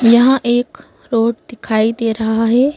यहाँ एक रोड दिखाई दे रहा है।